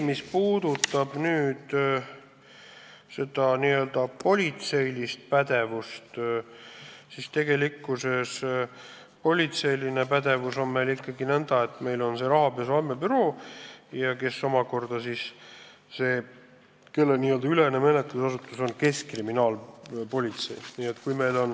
Mis puudutab nn politseilist pädevust, siis sellega on nõnda, et meil on rahapesu andmebüroo, kelle nn ülene menetlusasutus on keskkriminaalpolitsei.